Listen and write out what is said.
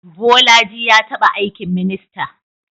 Bolaji ya taba aikin minista.